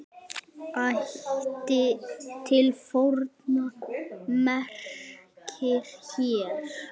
Ætt til forna merkir hér.